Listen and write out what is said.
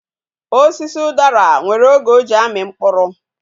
Osisi udara nwere oge o ji ami mkpuru